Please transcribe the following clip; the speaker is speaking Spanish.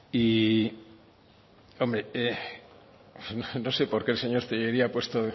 y hombre no sé porque el señor tellería ha puesto